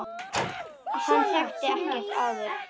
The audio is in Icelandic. Hann þekkti hann ekkert áður.